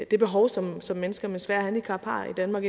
de behov som som mennesker med svære handicap har i danmark